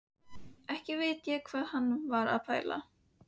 Ekki veit ég hvað hann var að pæla.